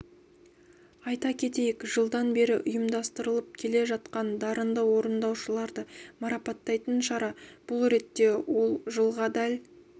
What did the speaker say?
айта кетейік жылдан бері ұйымдастырылып келе жатқан дарынды орындаушыларды марапаттайтын шара бұл ретте ол жылға дәл